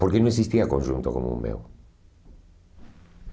Porque não existia conjunto como o meu.